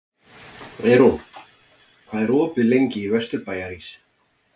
Eyrún, hvað er opið lengi í Vesturbæjarís?